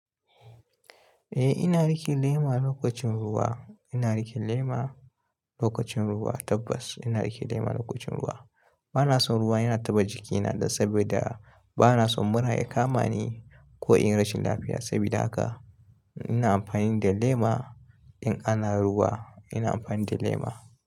Eh ina riƙe lema lokacin ruwa, ina riƙe lema lokacin ruwa tabbas ina riƙe lema lokacin ruwa. Bana son ruwa yana taɓa jikina dan saboda bana son mura ya kama ni ko in rashin lafiya sabida haka ina amfani da lema in ana ruwa ina amfani da lema.